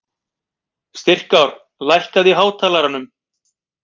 Styrkár, lækkaðu í hátalaranum.